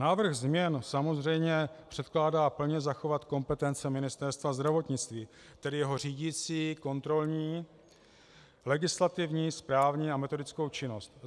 Návrh změn samozřejmě předkládá plně zachovat kompetence Ministerstva zdravotnictví, tedy jeho řídicí, kontrolní, legislativní, správní a metodickou činnost.